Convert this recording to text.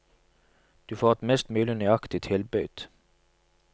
Du får et mest mulig nøyaktig tilbud.